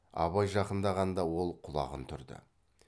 абай жақындағанда ол құлағын түрді